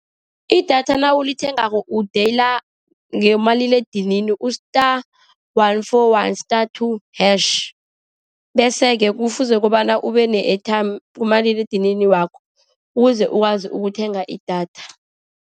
Idatha nawulithengako u-dial ngomaliledinini u-star one four one, star two hash. Bese-ke kufuze kobana ube ne-airtime kumaliledinini wakho, ukuze ukwazi ukuthenga idatha.